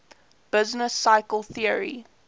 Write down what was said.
business cycle theory